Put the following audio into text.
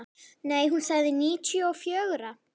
Nei, hún sagði níutíu og fjögra.